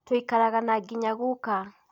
Tuikaraga na nginya guka